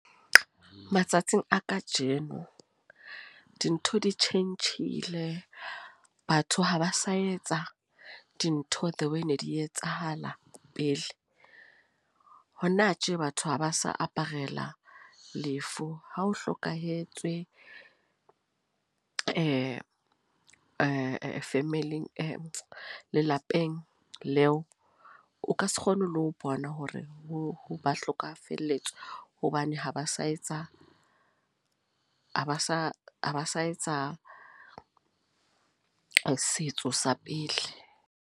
Matsatsing a kajeno, dintho di tjhentjhile. Batho ha ba sa etsa dintho the way ne di etsahala pele. Hona tje, batho haba sa aparela lefu. Ha o hlokahetswe family, lelapeng leo. O ka se kgone le ho bona hore o ba hlokafalletswe. Hobane ha ba sa etsa ha ba sa ha ba sa etsa setso sa pele.